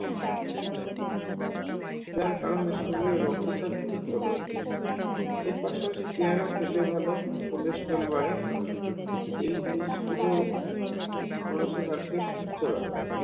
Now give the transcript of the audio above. যার কারনে শরীরে রক্তচাপ নিয়ন্ত্রণ থাকে এর পাশাপাশি পেয়ারা খেতে ভালো cholesterol বাড়ে এই জিনিসগুলো মানুষের heart কে সুস্থ রাখে